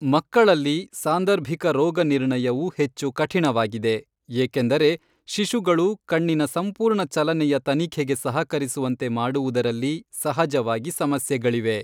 ಮಕ್ಕಳಲ್ಲಿ, ಸಾಂದರ್ಭಿಕ ರೋಗ ನಿರ್ಣಯವು ಹೆಚ್ಚು ಕಠಿಣವಾಗಿದೆ ಏಕೆಂದರೆ ಶಿಶುಗಳು ಕಣ್ಣಿನ ಸಂಪೂರ್ಣ ಚಲನೆಯ ತನಿಖೆಗೆ ಸಹಕರಿಸುವಂತೆ ಮಾಡುವುದರಲ್ಲಿ ಸಹಜವಾಗಿ ಸಮಸ್ಯೆಗಳಿವೆ.